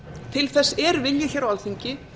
til þess er vilji á alþingi